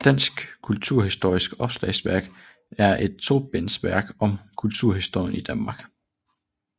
Dansk kulturhistorisk Opslagsværk er et tobindsværk om kulturhistorien i Danmark